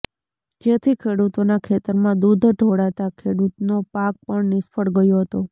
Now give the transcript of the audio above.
જેથી ખેડૂતોના ખેતરમાં દૂઘ ઢોળાતા ખેડૂતનો પાક પણ નિષ્ફળ ગયો હતો